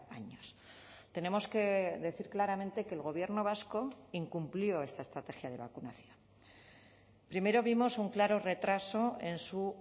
años tenemos que decir claramente que el gobierno vasco incumplió esta estrategia de vacunación primero vimos un claro retraso en su